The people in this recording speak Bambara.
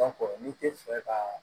n'i tɛ fɛ ka